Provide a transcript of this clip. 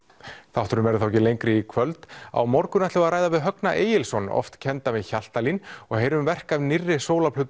þátturinn verður þá ekki lengri í kvöld á morgun ætlum við að ræða við Högna Egilsson oft kenndan við Hjaltalín og heyrum verk af nýrri